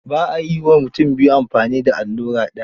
Ba a yi wa mutum biyu amfani da allura daya.